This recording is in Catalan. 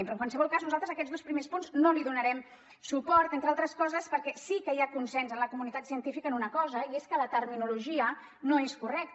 però en qualsevol cas nosaltres a aquests dos primers punts no li donarem suport entre altres coses perquè sí que hi ha consens en la comunitat científica en una cosa i és que la terminologia no és correcta